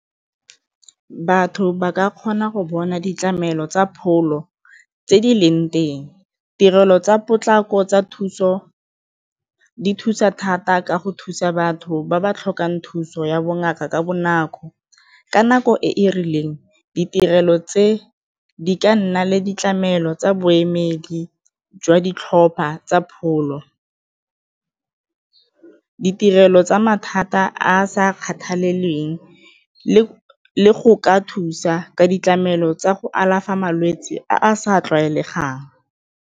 Batho ba ka kgona go bona ditlamelo tsa pholo tse di leng teng, tirelo tsa potlako tsa thuso di thusa thata ka go thusa batho ba ba tlhokang thuso ya bongaka ka bonako, ka nako e e rileng ditirelo tse di ka nna le ditlamelo tsa boemedi jwa ditlhopha tsa pholo, ditirelo tsa mathata a a sa kgathaleleng le go ka thusa ka ditlamelo tsa go alafa malwetse a a sa tlwaelegang.